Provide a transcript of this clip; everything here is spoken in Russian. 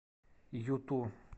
юту